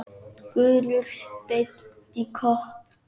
Gulur steinn í kopp.